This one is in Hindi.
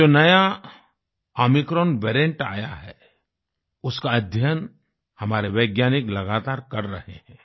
ये जो नया ओमिक्रॉन वेरिएंट आया है उसका अध्ययन हमारे वैज्ञानिक लगातार कर रहे हैं